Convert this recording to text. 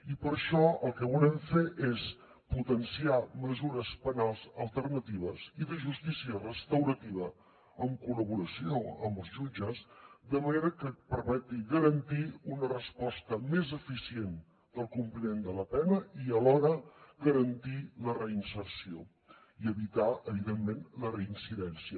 i per això el que volem fer és potenciar mesures penals alternatives i de justícia restaurativa en col·laboració amb els jutges de manera que permetin garantir una resposta més eficient del compliment de la pena i alhora garantir la reinserció i evitar evidentment la reincidència